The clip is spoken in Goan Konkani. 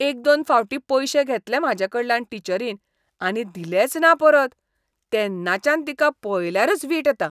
एक दोन फावटीं पयशे घेतले म्हाजेकडल्यान टिचरीन आनी दिलेच ना परत, तेन्नाच्यान तिका पळयल्यारच वीट येता.